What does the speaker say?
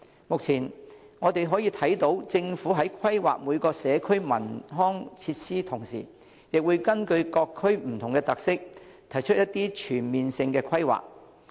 目前我們可以看到政府在規劃每個社區的文康設施的同時，亦會根據各區不同的特色，提出一些全面性的規劃。